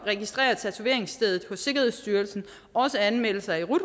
registrere tatoveringsstedet hos sikkerhedsstyrelsen anmelde sig i rut